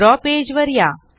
द्रव पेज वर या